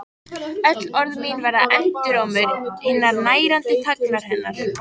Mér varð starsýnt á þau en spurði einskis.